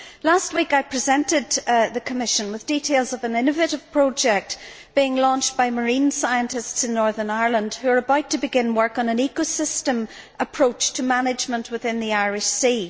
Last week, I presented the Commission with details of an innovative project being launched by marine scientists in Northern Ireland, who are about to begin work on an ecosystem approach to management within the Irish Sea.